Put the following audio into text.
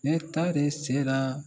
Ne taa de sera